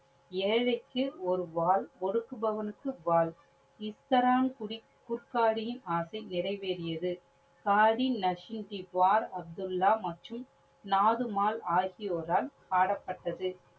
ஏழைக்கு ஒரு வாள். ஒடுக்குபவனுக்கு வாள். இஸ்தரான் குடி குட்காடியின் ஆசை நிறைவேறியது. நசுங்கின் துவார், அப்துலா மற்றும் நாதுமால் ஆகியோரால் பாடப்பட்டது.